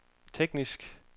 tekniske